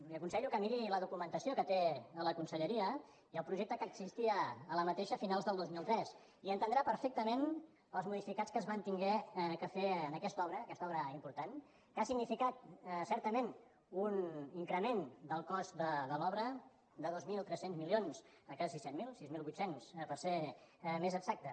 li aconsello que miri la documentació que té a la conselleria i el projecte que existia a la mateixa conselleria a finals del dos mil tres i entendrà perfectament els modificats que es van haver de fer en aquesta obra aquesta obra important que ha significat certament un increment del cost de l’obra de dos mil tres cents milions a quasi set mil sis mil vuit cents per ser més exacte